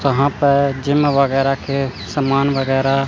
यहां पर जिम वगैरह के सामान वगैरह--